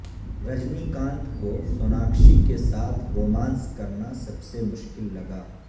رجنی کانت کو سوناکشی کے ساتھ رومانس کرنا سب سے مشکل لگا